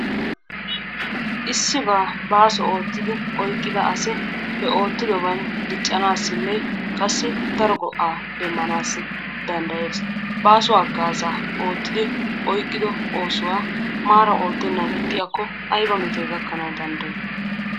Issibba baasso oottidi oyqqida asi he oottidoban diccanassinne qassi daro go'aa demmanassi dandayees, baasso haggaza oottidi oyqiddo oosuwaa maara oottenani ixiyaakko aybba mettoy gakkana dandayiy?